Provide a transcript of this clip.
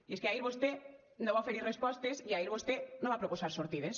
i és que ahir vostè no va oferir respostes i ahir vostè no va proposar sortides